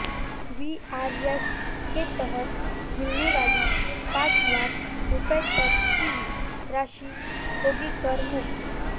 VRS के तहत मिलने वाली पांच लाख रुपये तक की राशि होगी कर मुक्त